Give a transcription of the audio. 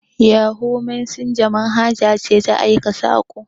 Yahu mesenja manhaja ce ta aika saƙo.